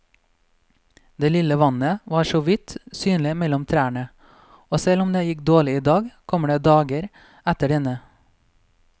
Det lille vannet var såvidt synlig mellom trærne, og selv om det gikk dårlig i dag, kommer det dager etter denne.